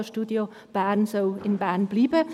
Das Radiostudio Bern soll in Bern bleiben.